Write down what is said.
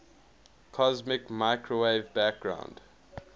cosmic microwave background